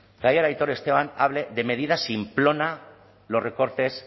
que ayer aitor esteban hable de medida simplona los recortes